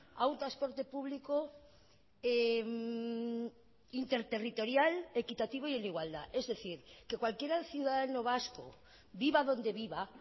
a un transporte público interterritorial equitativo y en igualdad es decir que cualquier ciudadano vasco viva donde viva